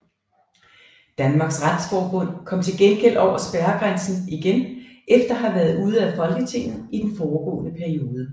Danmarks Retsforbund kom til gengæld over spærregrænsen igen efter at have været ude af Folketinget i den foregående periode